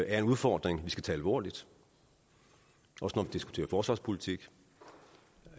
er en udfordring vi skal tage alvorligt også når vi diskuterer forsvarspolitik